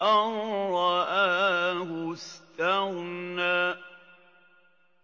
أَن رَّآهُ اسْتَغْنَىٰ